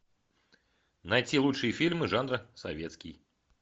найти лучшие фильмы жанра советский